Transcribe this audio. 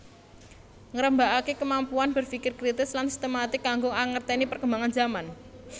Ngrembakakake kemampuan berfikir kritis lan sistematik kanggo angerteni perkembangan zaman